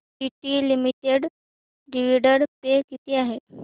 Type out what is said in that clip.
TT limited dividend pay किती आहे